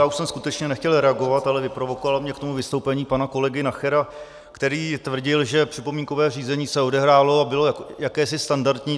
Já už jsem skutečně nechtěl reagovat, ale vyprovokovalo mě k tomu vystoupení pana kolegy Nachera, který tvrdil, že připomínkové řízení se odehrálo a bylo jakési standardní.